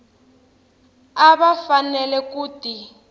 a va fanele ku ti